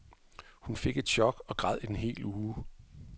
Hun fik et chok og græd en hel uge.